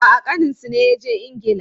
A'a, ƙaninsu ne ya je Ingila.